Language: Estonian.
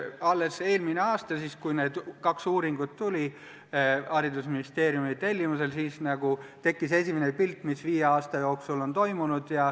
Alles eelmisel aastal, kui need kaks uuringut haridusministeeriumi tellimusel tulid, saadi esimene pilt sellest, mis viie aasta jooksul on toimunud.